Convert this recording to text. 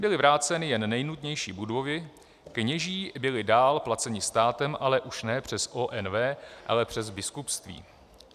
Byly vráceny jen nejnutnější budovy, kněží byli dál placeni státem, ale už ne přes ONV, ale přes biskupství.